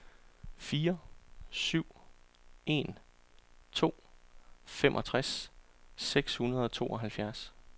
fire syv en to femogtres seks hundrede og tooghalvfjerds